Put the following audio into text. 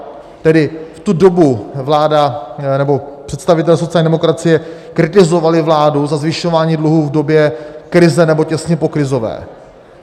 Tedy v tu dobu vláda nebo představitelé sociální demokracie kritizovali vládu za zvyšování dluhu v době krize, nebo těsně pokrizové.